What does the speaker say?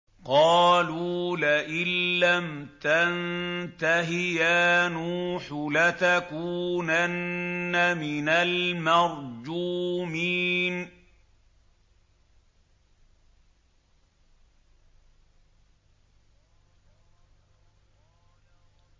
قَالُوا لَئِن لَّمْ تَنتَهِ يَا نُوحُ لَتَكُونَنَّ مِنَ الْمَرْجُومِينَ